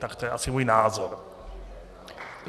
Tak to je asi můj názor.